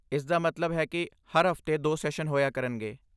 ਇਸਦਾ ਮਤਲਬ ਹੈ ਕਿ ਹਰ ਹਫ਼ਤੇ ਦੋ ਸੈਸ਼ਨ ਹੋਇਆ ਕਰਨਗੇ